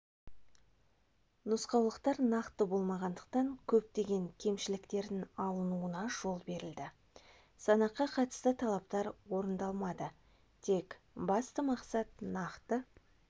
нұсқаулықтар нақты болмағандықтан көптеген кемшіліктердің алынуына жол берілді санаққа қатысты талаптар орындалмады тек басты мақсат нақты